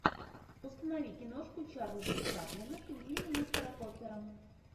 установи киношку чарльза чаплина пингвины мистера поппера